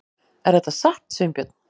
Er þetta satt, Sveinbjörn?